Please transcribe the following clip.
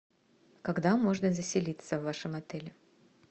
когда можно заселиться в вашем отеле